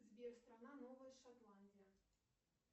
сбер страна новая шотландия